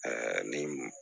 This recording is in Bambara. ni